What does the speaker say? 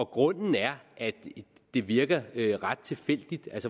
grunden er at det virker ret tilfældigt